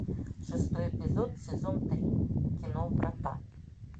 шестой эпизод сезон три кино врата